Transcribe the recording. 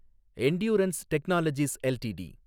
Endurance Technologies LTD